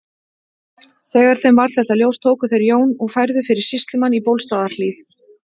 Þegar þeim varð þetta ljóst tóku þeir Jón og færðu fyrir sýslumann í Bólstaðarhlíð.